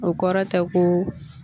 O kɔrɔ tɛ ko